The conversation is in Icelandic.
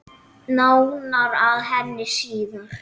Nánar að henni síðar.